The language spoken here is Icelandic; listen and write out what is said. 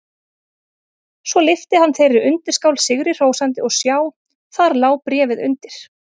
Svo lyfti hann þeirri undirskál sigri hrósandi og sjá: Þar lá bréfið undir!